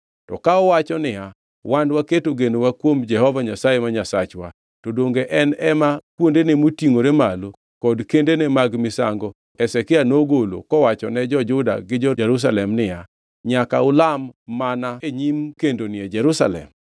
To ka uwachona niya, “Wan waketo genowa kuom Jehova Nyasaye ma Nyasachwa,” to donge en ema kuondene motingʼore malo kod kendene mag misango Hezekia nogolo kowachone jo-Juda gi jo-Jerusalem niya, “Nyaka ulam mana e nyim kendoni e Jerusalem?”